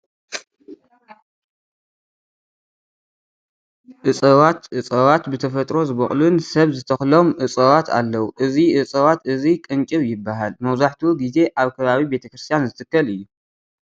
እፀዋት፡- እፀዋት ብተፈጥሮ ዝበቑሉን ሰብ ዝተኽሎም እፀዋት ኣለው፡፡ እዚ እፀዋት እዚ ቅንጭብ ይባሃል፡፡ መብዛሕትኡ ጊዜ ኣብ ከባቢ ቤተ ክርስትያን ዝትከል እዩ፡፡